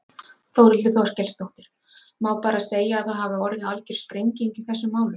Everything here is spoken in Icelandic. Þórhildur Þorkelsdóttir: Má bara segja að það hafi orðið algjör sprenging í þessum málum?